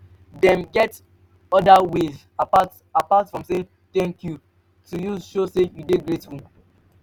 dem get oda ways apart apart from saying 'thank you' to use show say you de grateful